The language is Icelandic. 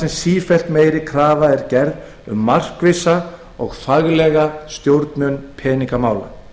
sem sífellt meiri krafa er gerð um markvissa og faglega stjórnun peningamála